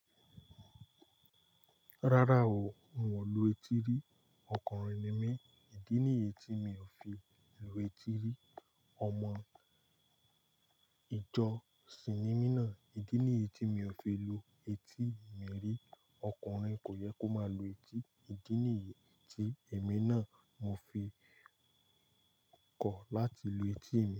Rárá o, un ò lu etí rí, ọkùnrin ni mí, ìdí nì yi tí mi ò fi lu etí rí. Ọmọ ìjọ Si ni mí nàa, ìdí nìyi tí mi ò fi lu etí mi rí, ọkùnrin kò yẹ kó máa lo etí, ìdí nìyi tí èmi náà mo fi kọ̀ láti lu etí mi.